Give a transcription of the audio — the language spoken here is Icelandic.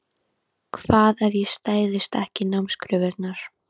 Hvað ef ég stæðist ekki námskröfurnar?